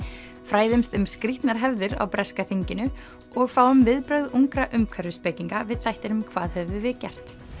fræðumst um skrítnar hefðir á breska þinginu og fáum viðbrögð ungra við þættinum hvað höfum við gert